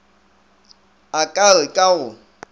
a ka re ka go